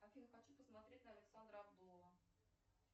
афина хочу посмотреть на александра абдулова